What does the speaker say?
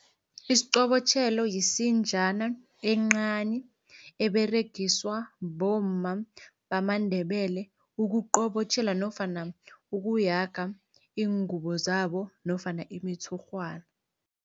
Isiqobotjhelo yisinjana encani eberegiswa bomma bamaNdebele, ukuqobotjhela nofana ukuyaga iingubo zabo nofana imitshurhwana.